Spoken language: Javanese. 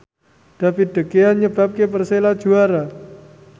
David De Gea nyebabke Persela juara